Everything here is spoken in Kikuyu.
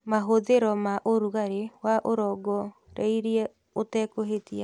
Mahũthĩro ma ũrugarĩ wa ũrongoreirie ũtekũhĩtia